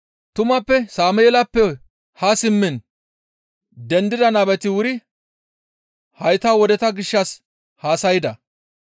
«Tumappe Sameelappe haa simmiin dendida nabeti wuri hayta wodeta gishshas haasayda.